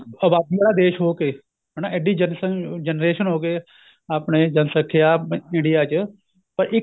ਆਬਾਦੀ ਵਾਲਾ ਦੇਸ਼ ਹੋ ਕੇ ਹਨਾ ਇੱਡੀ generation ਹੋ ਕੇ ਆਪਣੇ ਜਨਸੰਖਿਆ India ਚ ਪਰ